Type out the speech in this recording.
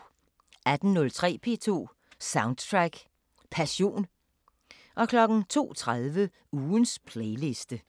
18:03: P2 Soundtrack Passion 02:30: Ugens playliste